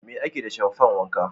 Me ake da shamfan wanka?